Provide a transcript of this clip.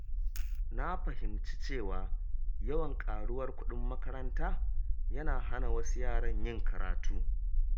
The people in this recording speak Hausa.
Na fahimci cewa yawan ƙaruwar kuɗin makaranta yana hana wasu yaran yin karatu.